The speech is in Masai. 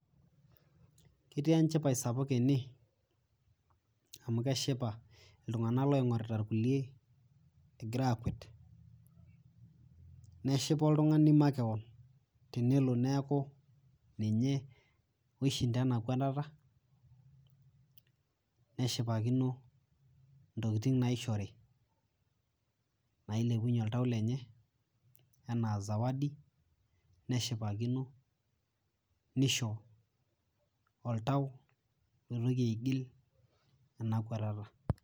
Ketii enchipai sapuk ene, amu keshipa iltung'anak loing'orita kulie, egira akwet. Neshipa oltung'ani makeon tenelo neeku ninye oishinda ena kwatata, neshipakino intokiting naishori, nailepunye oltau lenye, enaa zawadi ,neshipakino, nisho oltau oitoki aigil ena kwatata.